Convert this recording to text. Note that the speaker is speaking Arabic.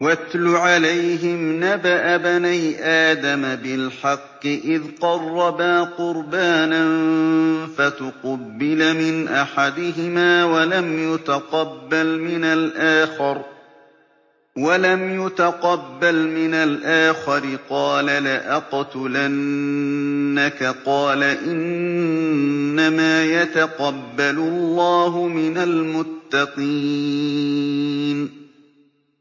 ۞ وَاتْلُ عَلَيْهِمْ نَبَأَ ابْنَيْ آدَمَ بِالْحَقِّ إِذْ قَرَّبَا قُرْبَانًا فَتُقُبِّلَ مِنْ أَحَدِهِمَا وَلَمْ يُتَقَبَّلْ مِنَ الْآخَرِ قَالَ لَأَقْتُلَنَّكَ ۖ قَالَ إِنَّمَا يَتَقَبَّلُ اللَّهُ مِنَ الْمُتَّقِينَ